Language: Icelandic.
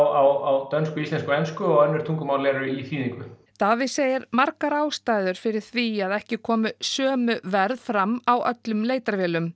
á dönsku íslensku og ensku og önnur tungumál eru í þýðingu Davíð segir margar ástæður fyrir því að ekki komi sama verð fram á öllum leitarvélum